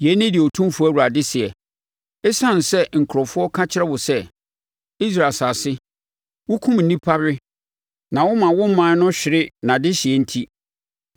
“ ‘Yei ne deɛ Otumfoɔ Awurade seɛ: Esiane sɛ nkurɔfoɔ ka kyerɛ wo sɛ, “Israel asase, wokum nnipa we na woma wo ɔman no hwere nʼadehyeɛ” enti,